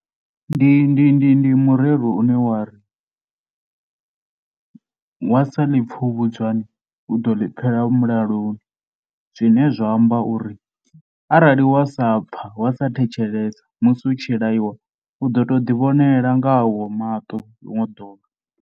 Ndi ndi ndi ndi murero une wa ri wa sa ḽi pfha u vhudzwani u ḓo ḽi pfhela vhulalo zwine zwa amba uri arali wa sa pfha, wa sa thetshelesa musi u tshi laiwa u ḓo tou ḓivhonela nga au maṱo ḽiṅwe ḓuvha.